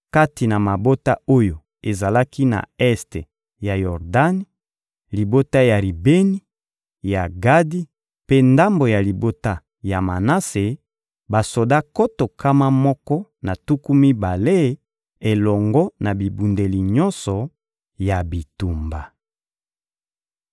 kati na mabota oyo ezalaki na este ya Yordani: libota ya Ribeni, ya Gadi mpe ndambo ya libota ya Manase, basoda nkoto nkama moko na tuku mibale elongo na bibundeli nyonso ya bitumba.